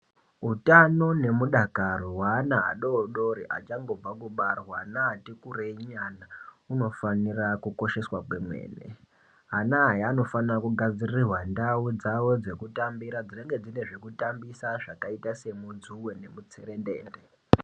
Hutano nemudakaro hweana adodori achangobva kubarwa vana vati kurei nyana unofanira kukosheswa kwemene. Ana aya anofanira kugadzirirwa ndau dzavo dzekutambira dzinenge dzine zvekutambisa zvakaita semudzuwe nemutserendende.